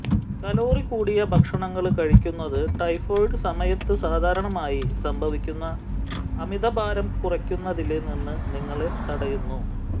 calorie കൂടിയ ഭക്ഷണങ്ങള് കഴിക്കുന്നത് ടൈഫോയ്ഡ് സമയത്ത് സാധാരണയായി സംഭവിക്കുന്ന അമിത ഭാരം കുറയ്ക്കുന്നതില് നിന്ന് നിങ്ങളെ തടയുന്നു